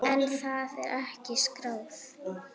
En það er ekki skráð.